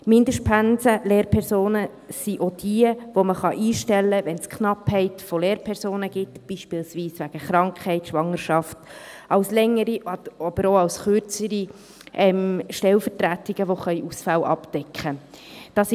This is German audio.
Mindestpensen-Lehrpersonen sind auch diejenigen, die man einstellen kann, wenn es eine Knappheit von Lehrpersonen gibt, beispielsweise wegen Krankheit oder Schwangerschaft: als längere, aber auch als kürzere Stellvertretungen, die Ausfälle abdecken können.